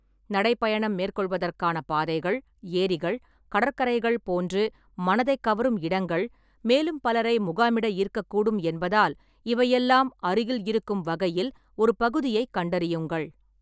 நடைப் பயணம் மேற்கொள்வதற்கான பாதைகள், ஏரிகள், கடற்கரைகள் போன்று மனதைக் கவரும் இடங்கள், மேலும் பலரை முகாமிட ஈர்க்கக்கூடும் என்பதால் இவை எல்லாம் அருகில் இருக்கும் வகையில் ஒரு பகுதியைக் கண்டறியுங்கள்.